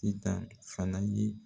Ita fana bi